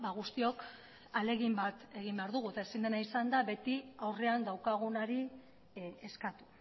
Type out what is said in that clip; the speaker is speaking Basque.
guztiok ahalegin bat egin behar dugu eta ezin dena izan da beti aurrean daukagunari eskatu